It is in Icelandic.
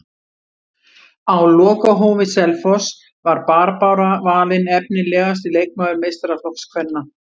Á lokahófi Selfoss var Barbára valin efnilegasti leikmaður meistaraflokks kvenna.